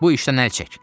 Bu işdən əl çək.